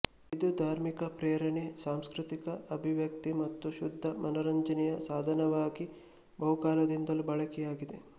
ಇದು ದಾರ್ಮಿಕ ಪ್ರೇರಣೆ ಸಾಂಸ್ಕೃತಿಕ ಅಭಿವ್ಯಕ್ತಿ ಮತ್ತು ಶುದ್ಧ ಮನರಂಜನೆಯ ಸಾಧನವಾಗಿ ಬಹುಕಾಲದಿಂದಲೂ ಬಳಕೆಯಾಗಿದೆ